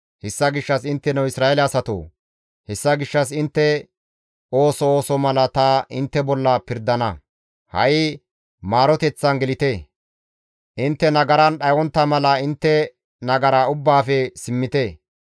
«Hessa gishshas intteno Isra7eele asatoo! Hessa gishshas intte ooso ooso mala ta intte bolla pirdana; Ha7i maaroteththan gelite; intte nagaran dhayontta mala intte nagara ubbaafe simmite.